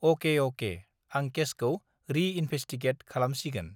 अके अके आं केसखौ रि इनभेसटिगेट खालामसिगोन